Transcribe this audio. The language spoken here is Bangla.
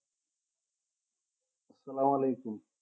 সালাম অয়ালেকুম।